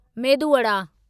medu Wada